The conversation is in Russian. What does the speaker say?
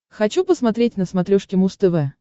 хочу посмотреть на смотрешке муз тв